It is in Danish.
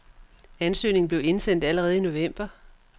Ansøgningen blev indsendt allerede i november.